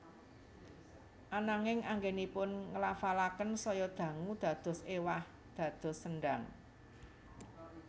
Ananging anggènipun nglafalaken saya dangu dados éwah dados sendang